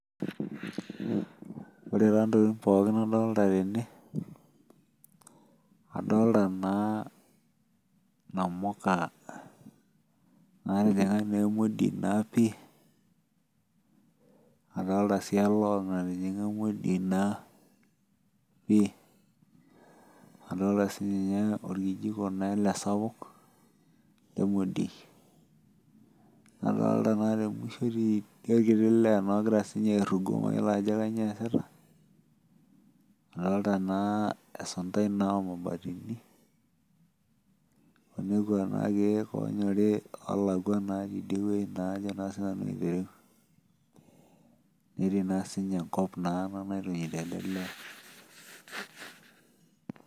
Ore taa ntokitin pookin nadolita tene, adolita naa inamuka, natijinga naa emodiei naa pii. aeolta sii elong natijinga emodiei naa pii. adolta sii ninye orkijiko, naa ele sapuk otii emodiei. adolta naa te musho teidie orkiti lee naa ogira aorugo. mayiolo ajo kainyioo eesita. adolta naa esuntai oo mabatini. lekua keek oolakua oonyori, ajo naa sii nanu aitereu. netii naa sii ninye, enkop naa ena naitunyutp ele lee.